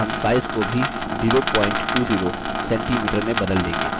हम size को भी 020cm में बदल change